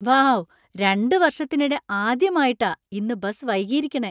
Wow , രണ്ട് വർഷത്തിനിടെ ആദ്യമായിട്ടാ ഇന്ന് ബസ് വൈകിയിരിക്കണെ .